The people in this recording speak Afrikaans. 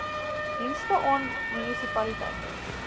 dienste aan munisipaliteite